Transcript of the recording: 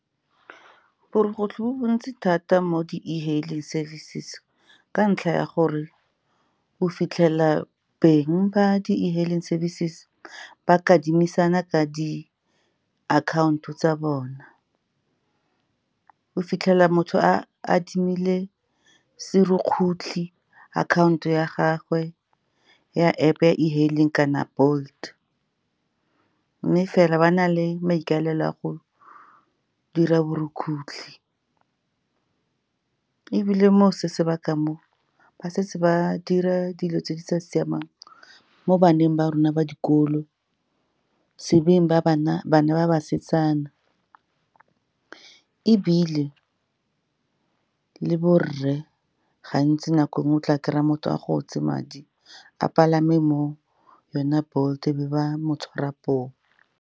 Borukutlhi bo bontsi thata mo di-e-hailing services, ka ntlha ya gore o fitlhela beng ba di-e-hailing services ba kadimisana ka di-akhaonto tsa bona. O fitlhela motho a adimile serukutlhi, akhaonto ya gagwe ya App ya e-hailing kana Bolt, mme fela ba na le maikaelelo a go dira borukgutlhi. Ebile mo se sebaka mo, ba setse ba dira dilo tse di sa siamang mo baneng ba rona ba dikolo, se beng ba bana ba basetsana. Ebile le borre gantsi, nako nngwe, o tla kry-a motho a gotse madi a palame mo yone Bolt, e be ba mo tshwara poo.